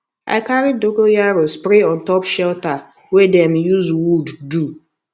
i carry dogonyaro spray on top shelter wey dem use wood do